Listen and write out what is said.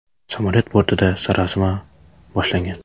Samolyot bortida sarosima boshlangan.